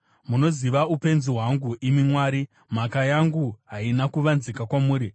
Munoziva upenzi hwangu, imi Mwari; mhaka yangu haina kuvanzika kwamuri.